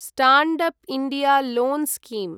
stand up India loan scheme